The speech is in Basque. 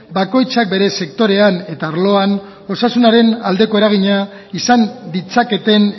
bakoitzak bere sektorean eta arloan osasunaren aldeko eragina izan ditzaketen